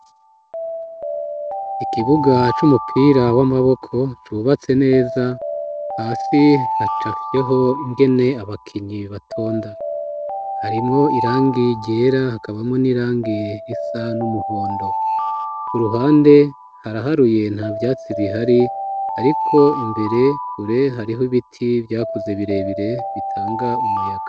Ikibuga c'umupira w'amaboko cubatse neza hasi hacafyeho ngene abakinyi batonda ,harimwo irangi ryera hakabamo n'irangi risa n'umuhondo ,ku ruhande haraharuye nta vyatsi bihari ariko imbere kure harih’ibiti vyakuze birebire bitanga umuyaga.